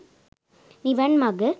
නිවන් මඟ